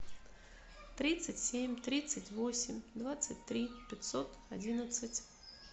тридцать семь тридцать восемь двадцать три пятьсот одиннадцать